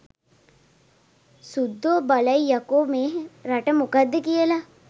සුද්දෝ බලයි යකෝ මේ රට මොකක්ද කියල